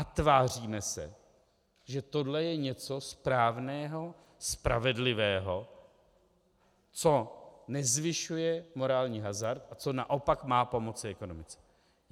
A tváříme se, že tohle je něco správného, spravedlivého, co nezvyšuje morální hazard a co naopak má pomoci ekonomice.